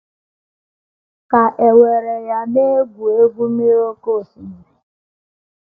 Ka e were ya na ị na - egwu - egwu mmiri n’oké osimiri.